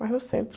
Mais no centro.